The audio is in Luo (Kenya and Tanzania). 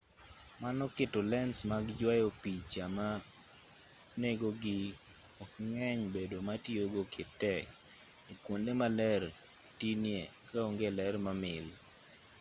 mano keto lens mag yuayo picha ma nengogi ok ng'eny bedo ma tiyogo tek e kuonde ma ler tinie ka onge ler mamil